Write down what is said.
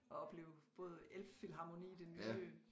Og opleve både Elbphilharmonie det nye